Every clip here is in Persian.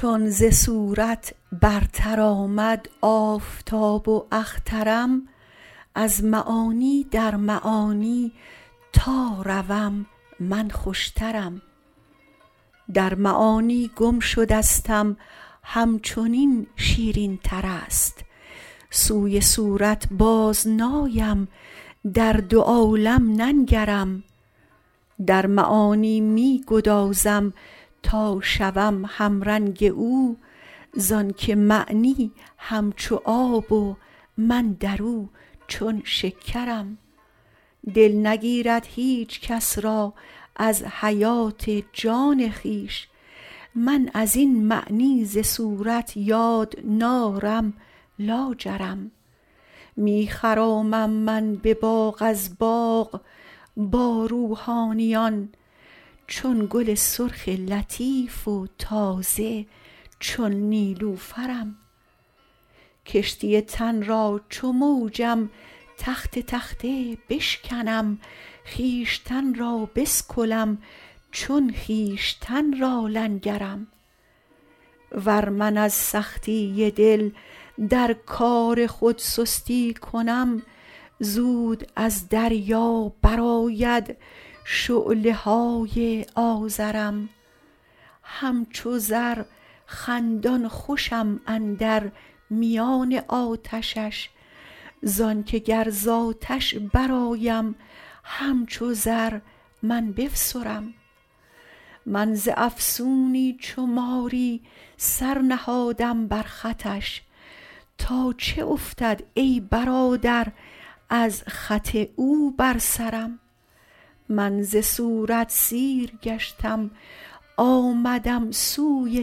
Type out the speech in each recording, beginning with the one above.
چون ز صورت برتر آمد آفتاب و اخترم از معانی در معانی تا روم من خوشترم در معانی گم شدستم همچنین شیرینتر است سوی صورت بازنایم در دو عالم ننگرم در معانی می گدازم تا شوم همرنگ او زانک معنی همچو آب و من در او چون شکرم دل نگیرد هیچ کس را از حیات جان خویش من از این معنی ز صورت یاد نارم لاجرم می خرامم من به باغ از باغ با روحانیان چون گل سرخ لطیف و تازه چون نیلوفرم کشتی تن را چو موجم تخته تخته بشکنم خویشتن را بسکلم چون خویشتن را لنگرم ور من از سختی دل در کار خود سستی کنم زود از دریا برآید شعله های آذرم همچو زر خندان خوشم اندر میان آتشش زانک گر ز آتش برآیم همچو زر من بفسرم من ز افسونی چو ماری سر نهادم بر خطش تا چه افتد ای برادر از خط او بر سرم من ز صورت سیر گشتم آمدم سوی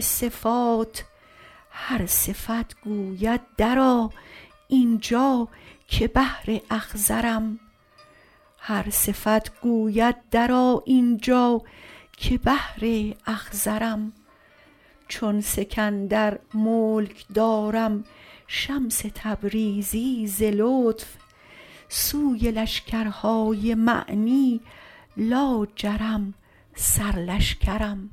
صفات هر صفت گوید درآ این جا که بحر اخضرم چون سکندر ملک دارم شمس تبریزی ز لطف سوی لشکرهای معنی لاجرم سرلشکرم